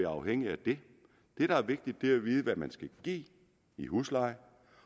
afhængig af det det der er vigtigt at vide er hvad man skal give i husleje